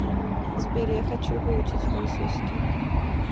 сбер я хочу выучить французский